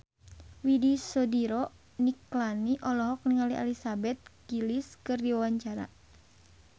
Widy Soediro Nichlany olohok ningali Elizabeth Gillies keur diwawancara